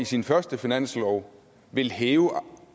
sin første finanslov ville hæve